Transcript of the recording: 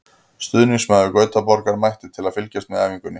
Stuðningsmaður Gautaborgar mætti til að fylgjast með æfingunni.